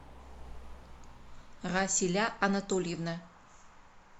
расиля анатольевна